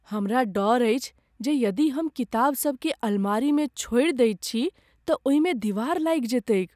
हमरा डर अछि जे यदि हम किताबसभकेँ अलमारीमे छोड़ि दैत छी तँ ओहि मे दिवार लागि जेतैक ।